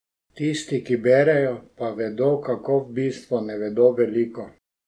Tisti, ki berejo, pa vedo, kako v bistvu ne vedo veliko.